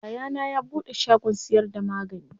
Yayana ya buɗe shagon siyar da magani.